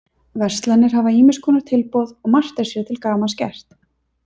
Verslanir hafa ýmiss konar tilboð og margt er sér til gamans gert.